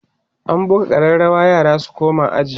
an buga ƙararawa yara su koma aji